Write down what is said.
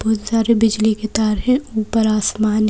बहुत सारे बिजली के तार हैं ऊपर आसमान--